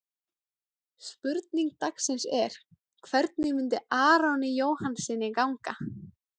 Spurning dagsins er: Hvernig mun Aroni Jóhannssyni ganga?